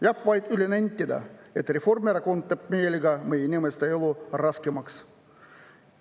Jääb vaid üle nentida, et Reformierakond teeb meelega meie inimeste elu raskemaks.